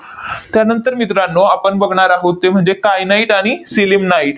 त्यानंतर मित्रांनो, आपण बघणार आहोत, ते म्हणजे kyanite आणि sillimanite